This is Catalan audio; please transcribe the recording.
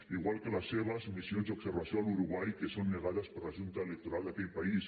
igual que les seves missions d’observació a l’uruguai que són negades per la junta electoral d’aquell país